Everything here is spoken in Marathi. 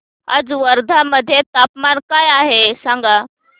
आज वर्धा मध्ये तापमान काय आहे सांगा